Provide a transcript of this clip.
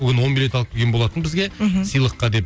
бүгін он билет алып келген болатын бізге мхм сыйлыққа деп